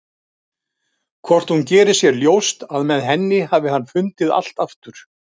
Hvort hún geri sér ljóst að með henni hafi hann fundið allt aftur?